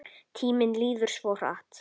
Tíminn líður svo hratt.